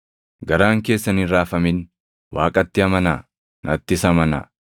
“Garaan keessan hin raafamin. Waaqatti amanaa; nattis amanaa.